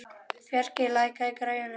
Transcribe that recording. Fjarki, lækkaðu í græjunum.